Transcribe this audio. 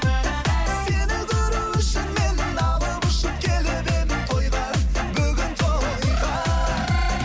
сені көру үшін мен алып ұшып келіп едім тойға бүгін тойға